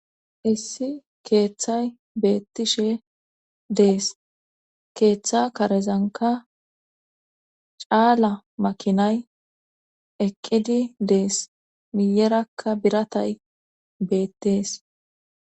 issi keeththay beettishe dees keeththa karezanka caala makinay eqqidi dees miyerakka biratay beettees